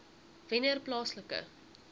wennerplaaslike